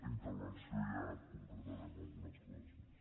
intervenció ja concretarem algunes coses més